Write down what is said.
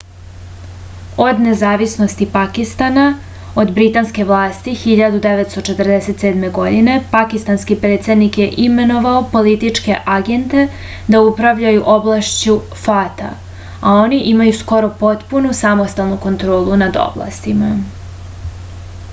od nezavisnosti pakistana od britanske vlasti 1947. godine pakistanski predsednik je imenovao političke agente da upravljaju oblašću fata a oni imaju skoro potpunu samostalnu kontrolu nad oblastima